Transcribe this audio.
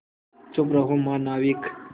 चुप रहो महानाविक